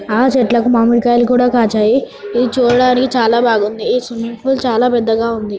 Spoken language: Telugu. ఆ చెట్లకు మామిడికాయలు కూడా కాచాయి. ఇది చూడడానికి చాలా బాగుంది. ఈ స్విమ్మింగ్ పూల్ చాలా పెద్దగా ఉంది.